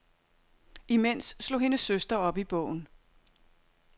Imens slog hendes søster op i bogen.